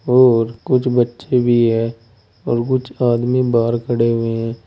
और कुछ बच्चे भी है और कुछ आदमी बाहर खड़े हुए हैं।